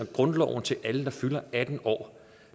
grundloven til alle der fylder atten år